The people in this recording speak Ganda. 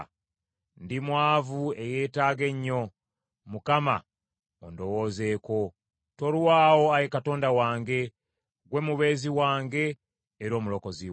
Ndi mwavu, eyeetaaga ennyo. Mukama ondowoozeeko. Tolwawo, Ayi Katonda wange. Ggwe mubeezi wange era Omulokozi wange.